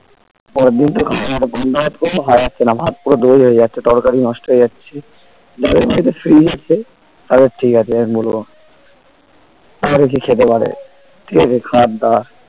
পরেরদিন তো খাওয়া যায়না পান্তা ভাত করেও খাওয়া যাচ্ছে না ভাত পুরো দই হয়ে যাচ্ছে তরকারি নষ্ট হয়ে যাচ্ছে যাদের বাড়িতে fridge আছে তাদের ঠিক আছে আমি বলবো তারা দেখি খেতে পারে খাবার দাবার